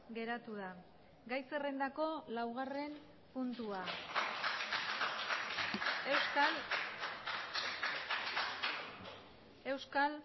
geratu da gai zerrendako laugarren puntua euskal